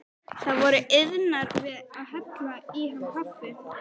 Þær voru iðnar við að hella í hann kaffi.